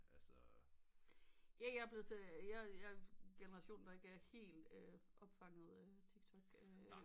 Ja jeg er blevet til jeg er generationen der ikke er helt opfangede tiktok